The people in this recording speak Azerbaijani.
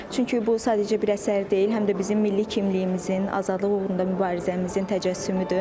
Çünki bu sadəcə bir əsər deyil, həm də bizim milli kimliyimizin, azadlıq uğrunda mübarizəmizin təcəssümüdür.